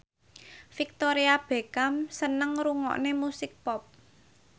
Victoria Beckham seneng ngrungokne musik pop